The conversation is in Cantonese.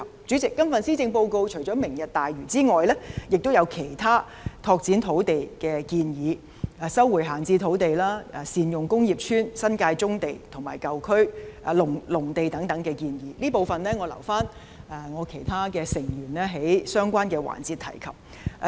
主席，今次施政報告除了提出"明日大嶼"外，亦有其他拓展土地的建議：收回閒置土地、善用工業邨、新界棕地、農地及舊區重建等，這部分我留給其他議員在相關環節討論。